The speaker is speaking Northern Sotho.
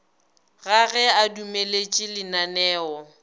ga ge a dumeletše lananeo